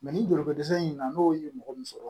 ni joliko dɛsɛ in na n'o ye mɔgɔ min sɔrɔ